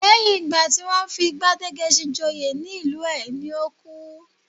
Lẹ́yìn ìgbà tí wọ́n fi Gbádégẹṣin joyè ní ìlú ẹ̀ ni ó kú